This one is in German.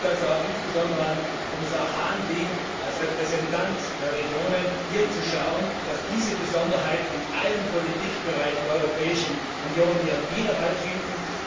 Es wird also auch insbesondere an Kommissar Hahn liegen, als Repräsentant der Regionen dafür zu sorgen, dass diese Besonderheiten in allen Politikbereichen der Europäischen Union ihren Widerhall finden.